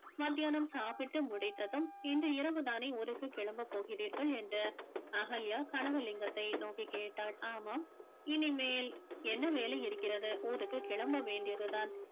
மத்தியானம் சாப்பிட்டு முடித்ததும் இன்று இரவுதானே ஊருக்கு கிளம்ப போகிறீர்கள் என்று அகல்யா கனகலிங்கத்தை நோக்கி கேட்டாள் ஆமாம் இனிமேல் என்ன வேலை இருக்கிறது ஊருக்கு கிளம்ப வேண்டியது தான்